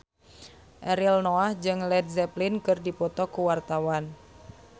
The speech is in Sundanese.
Ariel Noah jeung Led Zeppelin keur dipoto ku wartawan